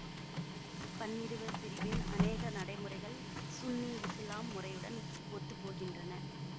பன்னிருவர் பிரிவின் அனேக நடைமுறைகள் சுன்னி இசுலாம் முறையுடன் ஒத்துப்போகின்றன